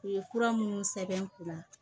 U ye fura minnu sɛbɛn n kunna